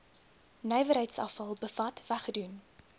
nywerheidsafval bevat weggedoen